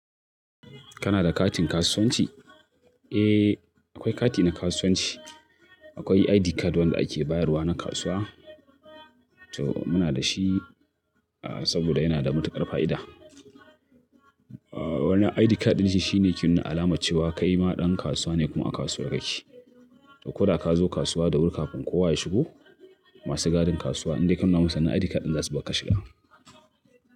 Kana da katin kasuwanci? Eh, akwai kati na kasuwanci. Akwai ID card wanda ake bayarwa na kasuwa. To muna da shi saboda yana da matuƙar fa'ida. Wannan ID card ɗin shine ke nuna alama cewa kai maɗan kasuwa ne kuma a kasuwa ka ke. Koda ka zo kasuwa da wuri kafin kowa ya shigo, masu gadin kasuwa in dai ka nuna musu wan nan ID card ɗin za su bakar ka shiga.